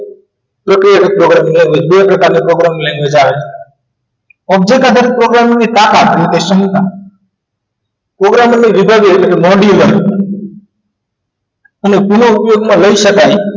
પ્રક્રિયા જ programming language બે પ્રકારની programming language આવે object આધારિત programming સાથ આપે કે શંકા programming ને બીજા દિવસે મોડી વાળી અને પુના ઉપયોગમાં લઈ શકાય